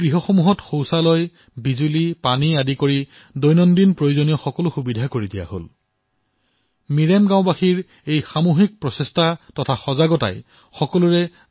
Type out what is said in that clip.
সেই জুপুৰিসমূহত শৌচালয় বিদ্যুৎ পানী সহিতে দৈনিক প্ৰয়োজনীয়তাৰ সকলো সুবিধা উপলব্ধ কৰোৱা হব